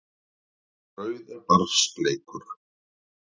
Brauð er barns leikur.